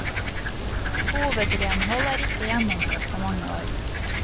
Hovedrenhold er ikke gjennomført på mange år.